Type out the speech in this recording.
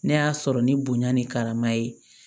Ne y'a sɔrɔ ni bonya ni karama ye